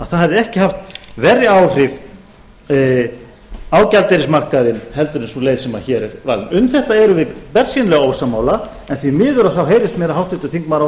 að það hefði ekki haft verri áhrif á gjaldeyrismarkaðinn en þessi leið sem hér varð um þetta erum við bersýnilega ósammála en því miður þá heyrist mér háttvirtir þingmenn